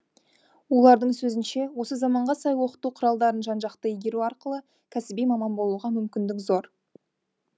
олардың сөзінше осы заманға сай оқыту құралдарын жан жақты игеру арқылы кәсіби маман болуға мүмкіндік зор